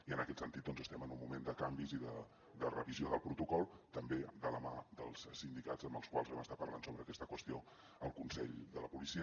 i en aquest sentit doncs estem en un moment de canvis i de revisió del protocol també de la mà dels sindicats amb els quals vam estar parlant sobre aquesta qüestió al consell de la policia